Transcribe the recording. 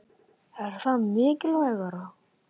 Er það mikilvægara?